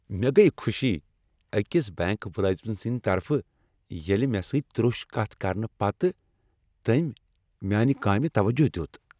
مےٚ گٔیہ خوشی أکس بینک ملٲزم سندِ طرفہٕ ییٚلہِ مےٚ سۭتۍ تروٚش کتھ کرنہٕ پتہٕ تٔمۍ میانہِ کامہِ توجہ دیُت۔